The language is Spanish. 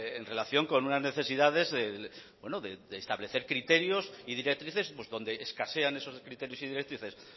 en relación con unas necesidades de establecer criterios y directrices donde escasean esos criterios y directrices